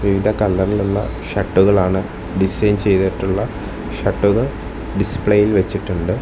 വിവിധ കളറിലുള്ള ഷർട്ടുകളാണ് ഡിസൈൻ ചെയ്തിട്ടുള്ള ഷർട്ടുകൾ ഡിസ്പ്ലേയിൽ വെച്ചിട്ടുണ്ട്.